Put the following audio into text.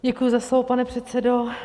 Děkuji za slovo, pane předsedo.